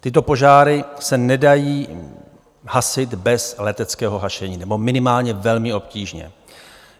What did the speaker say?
Tyto požáry se nedají hasit bez leteckého hašení, nebo minimálně velmi obtížně.